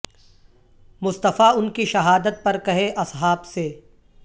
مصطفی ان کی شہادت پر کہے اصحا ب سے